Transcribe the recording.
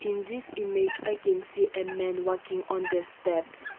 in this image i can see a men walking on the step.